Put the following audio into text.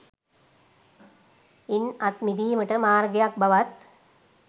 ඉන් අත් මිඳීමට මාර්ගයක් බවත්